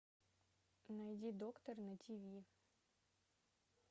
найди доктор на тв